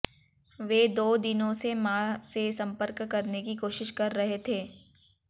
वे दो दिनों से मां से संपर्क करने की कोशिश कर रहे थे